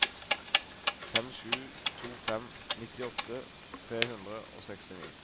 fem sju to fem nittiåtte tre hundre og sekstini